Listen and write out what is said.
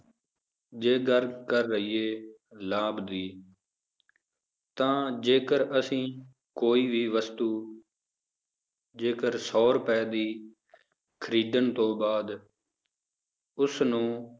ਜੇ ਗੱਲ ਕਰ ਲਈਏ ਲਾਭ ਦੀ ਤਾਂ ਜੇਕਰ ਅਸੀਂ ਕੋਈ ਵੀ ਵਸਤੂ ਜੇਕਰ ਸੌ ਰੁਪਏ ਦੀ ਖ਼ਰੀਦਣ ਤੋਂ ਬਾਅਦ ਉਸਨੂੰ